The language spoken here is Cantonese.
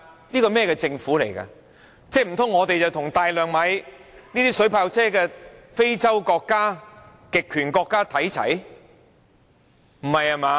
難道它想香港與大量購買水炮車的非洲國家或極權國家看齊？